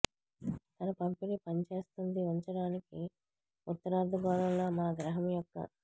తన పంపిణీ పనిచేస్తుంది ఉంచడానికి ఉత్తరార్ధగోళంలో మా గ్రహం యొక్క